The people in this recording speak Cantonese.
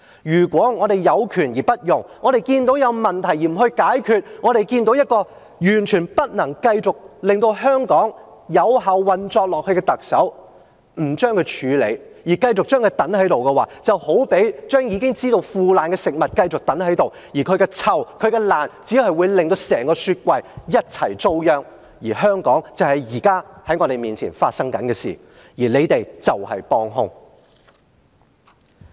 如果我們有權而不用，我們看到有問題而不解決，我們看到一個完全不能令香港繼續有效運作下去的特首仍然在位，不處理她，繼續讓她留下來的話，便好比將已經腐壞的食物繼續留下來，而它的腐爛發出的惡臭，只會令整個雪櫃一起糟殃，這就是現在我們看到香港的情況，而保皇黨就是幫兇。